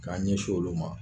K'an ɲɛs'olu ma